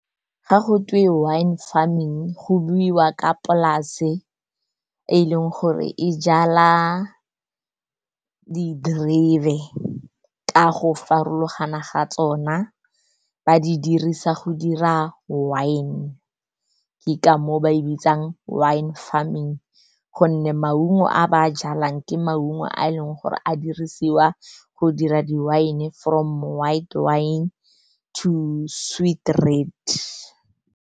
Ga go twe wine farming go buiwa ka polase e leng gore e jala diterebe ka go farologana ga tsona. Ba di dirisa go dira wine, ke ka mo o ba e bitsang wine farming, gonne maungo a ba a jalang ke maungo a e leng gore a dirisiwa go dira di-wine, from white wine to sweet red.